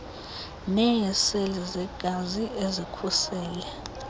neeseli zegazi ezikhusele